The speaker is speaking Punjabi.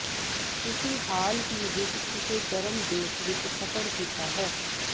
ਤੁਸੀਂ ਹਾਲ ਹੀ ਵਿਚ ਕਿਸੇ ਗਰਮ ਦੇਸ਼ ਵਿਚ ਸਫ਼ਰ ਕੀਤਾ ਹੈ